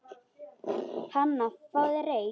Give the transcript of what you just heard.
Hana, fáðu þér reyk